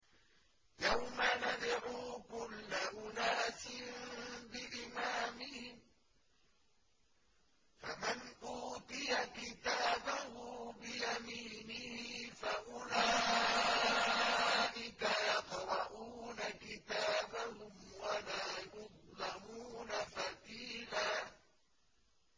يَوْمَ نَدْعُو كُلَّ أُنَاسٍ بِإِمَامِهِمْ ۖ فَمَنْ أُوتِيَ كِتَابَهُ بِيَمِينِهِ فَأُولَٰئِكَ يَقْرَءُونَ كِتَابَهُمْ وَلَا يُظْلَمُونَ فَتِيلًا